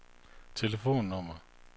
telefonnummer